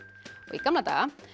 í gamla daga